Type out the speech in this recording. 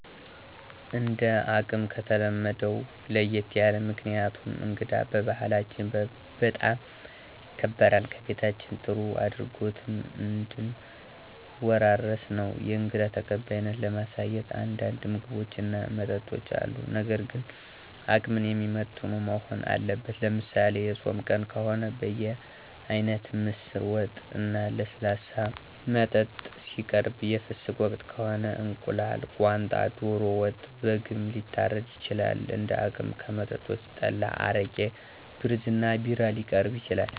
እንደ አቅም ከተለመደው ለየት ያለ። ምክንያቱም እንግዳ በባህላችን በጣም ይከበራል ከቤታችን ጥሩ አድራጎትን እንድን ወራረስ ነው። የእንግዳ ተቀባይነትን ለማሳየት አንዳንድ ምግቦች እና መጠጦች አሉ ነገር ግን አቅምን የሚመጥኑ መሆን አለበት። ለምሳሌ፦ የፆም ቀን ከሆነ በየአይነት፣ ምስር ወጥ፣ እና ለስላሳ መጠጥ ሲቀርብ የፍስክ ወቅት ከሆነ፦ እንቁላል፣ ቋንጣ፣ ዶሮ ወጥ፣ በግም ሊታረድ ይችላል እንደ አቅም። ከመጠጦችም፣ ጠላ አረቂ፣ ብርዝ እና ቢራ ሊቀርብ ይችላል።